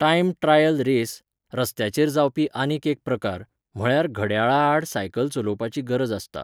Time trial race, रस्त्याचेर जावपी आनीक एक प्रकार, म्हळ्यार घड्याळा आड सायकल चलोवपाची गरज आसता.